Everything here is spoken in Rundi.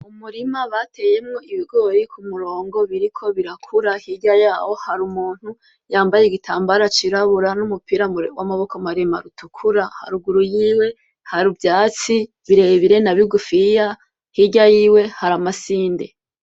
Umurima bateyemwo ibigori k'umurongo biriko birakura hirya yaho har'umuntu yambaye igitambara c'irabura n'umupira w'amaboko maremare utukura, haruguru yiwe ivyatsi birebire na bigufiya hirya yiwe hari amasinde.